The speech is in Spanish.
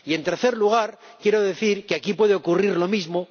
Y en tercer lugar, quiero decir que aquí puede ocurrir lo mismo.